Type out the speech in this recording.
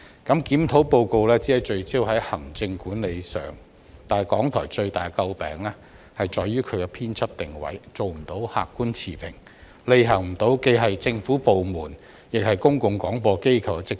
《檢討報告》只聚焦於行政管理之上，但港台最為人詬病之處卻在於其編輯定位不能做到客觀持平，無法履行既是政府部門，亦是公共廣播機構的職責。